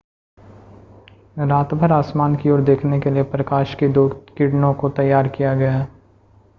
रातभर आसमान की ओर देखने के लिए प्रकाश की दो किरणों को तैयार किया गया है